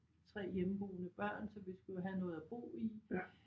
3 hjemmeboende børn så vi skulle jo have noget at bo i